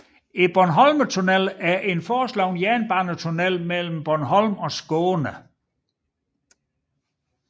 Bornholmtunnelen er en foreslået jernbanetunnel mellem Bornholm og Skåne